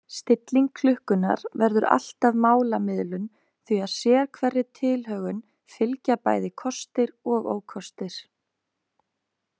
Stilling klukkunnar verður alltaf málamiðlun því að sérhverri tilhögun fylgja bæði kostir og ókostir.